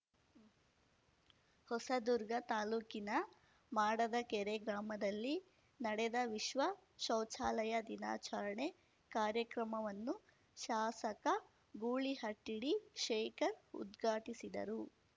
ಹೊಸದುರ್ಗ ತಾಲೂಕಿನ ಮಾಡದಕೆರೆ ಗ್ರಾಮದಲ್ಲಿ ನಡೆದ ವಿಶ್ವ ಶೌಚಾಲಯ ದಿನಾಚರಣೆ ಕಾರ್ಯಕ್ರಮವನ್ನು ಶಾಸಕ ಗೂಳಿಹಟ್ಟಿಡಿ ಶೇಖರ್ ಉದ್ಘಾಟಿಸಿದರು